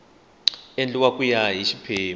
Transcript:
endliwa ku ya hi xiphemu